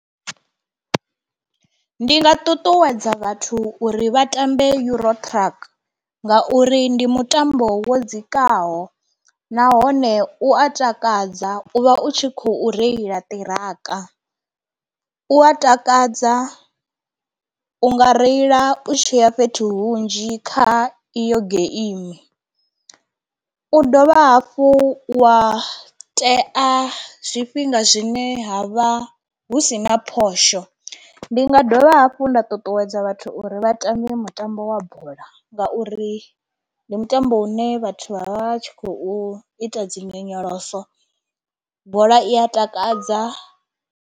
Ndi nga ṱuṱuwedza vhathu uri vha tambe EuroTruck ngauri ndi mutambo wo dzikaho nahone u a takadza u vha u tshi khou reila ṱiraka, u a takadza u nga reila u tshiya fhethu hunzhi kha iyo geimi, u dovha hafhu wa tea zwifhinga zwine ha vha hu sina phosho. Ndi nga dovha hafhu nda ṱuṱuwedza vhathu uri vha tambe mutambo wa bola ngauri ndi mutambo une vhathu vha vha tshi khou ita dzi nyonyoloso, bola i a takadza.